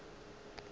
le ge ke be ke